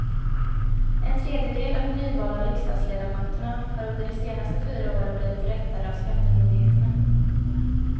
En tredjedel av de nyvalda riksdagsledamöterna har under de senaste fyra åren blivit rättade av skattemyndigheterna.